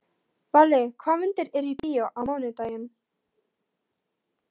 Valli, hvaða myndir eru í bíó á mánudaginn?